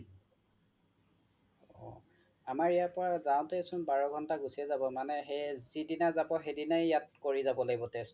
আমাৰ ইয়াৰ পৰা যাওঁতে চোন বাৰ ঘণ্টা গুচিয়ে যাব মানে সেই যিদিনা যাব সেইদিনাই কৰি যাব লাগিব test টো